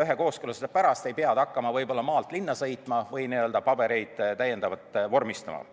ühe kooskõlastuse pärast ei pea ta hakkama maalt linna sõitma või täiendavalt pabereid vormistama.